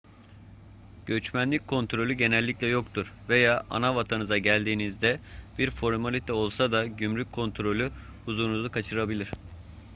göçmenlik kontrolü genellikle yoktur veya anavatanınıza geldiğinizde bir formalite olsa da gümrük kontrolü huzurunuzu kaçırabilir